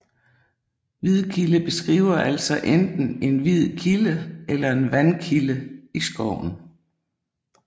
Hvidkilde beskriver altså enten en hvid kilde eller en vandkilde i skoven